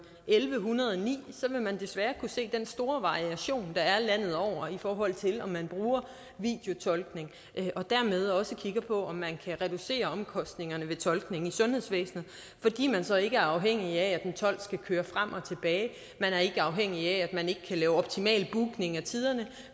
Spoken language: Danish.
elleve hundrede og ni så vil man desværre kunne se den store variation der er landet over i forhold til om man bruger videotolkning og dermed også kigger på om man kan reducere omkostningerne ved tolkning i sundhedsvæsenet fordi man så ikke er afhængig af at en tolk skal køre frem og tilbage man er ikke afhængig af at man ikke kan lave optimal bookning af tiderne